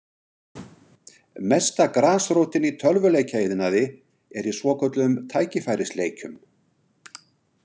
Mesta grasrótin í tölvuleikjaiðnaði er í svokölluðum tækifærisleikjum.